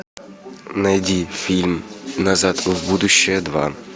найди фильм назад в будущее два